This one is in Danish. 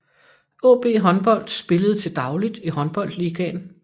AaB Håndbold spillede til dagligt i Håndboldligaen